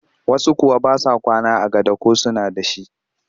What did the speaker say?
Wasu kuwa ba sa kwana a gado ko suna da shi